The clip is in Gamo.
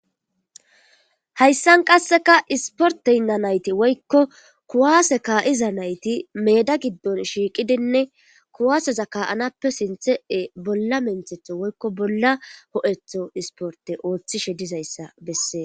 Hayssan qasseka isporteynna nayti woykko kuwaase kaa7iza nayti meeda giddon shiiqidinne kuwaaseza ka7anappe sinthee bolla menthetho woykko bolla ho7etho isporte ooththishe dizayssa bessee.